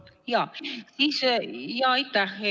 Aitäh, hea eesistuja!